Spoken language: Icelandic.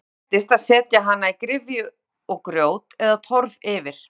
Áður þekktist að setja hana í gryfju og grjót eða torf yfir.